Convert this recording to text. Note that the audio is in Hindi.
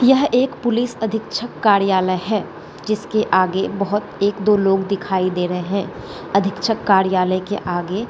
यह एक पुलिस अधीक्षक कार्यालय है जिसके आगे बहुत एक दो लोग दिखाई दे रहें हैं अधीक्षक कार्यालय के आगे --